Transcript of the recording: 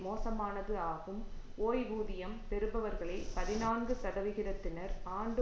மோசமானது ஆகும் ஓய்வூதியம் பெறுபவர்களில் பதினான்கு சதவிகிதத்தினர் ஆண்டு